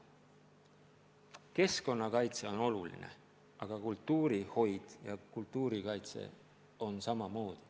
Keskkonnakaitse on oluline, aga kultuurihoid ja kultuurikaitse on samamoodi.